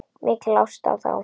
Mikil ást á þá.